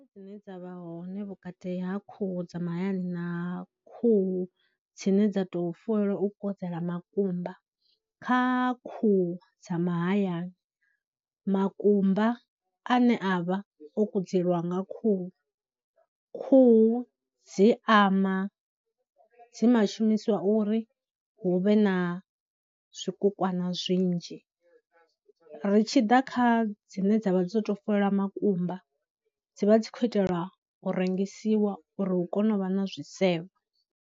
Dzine dza vha hone vhukati ha khuhu dza mahayani na khuhu dzine dza tou fuwelwa u kudzela makumba, kha khuhu dza mahayani makumba ane a vha o kudzelwa nga khuhu, khuhu dzi ama, dzi nga shumisiwa uri hu vhe na zwikukwana zwinzhi, ri tshi ḓa kha dzine dza vha dzo tou fuwelwa makumba, dzi vha dzi khou itelwa u rengisiwa uri hu kone u vha na zwisevho.